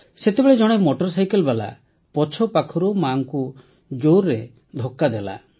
ସେତେବେଳେ ଜଣେ motor cycle ବାଲା ପଛପାଖରୁ ମାକୁ ଜୋରରେ ଧକ୍କା ଦେଲା